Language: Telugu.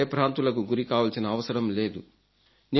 మీరు భయభ్రాంతులకు గురి కావాల్సిన అవసరం లేదు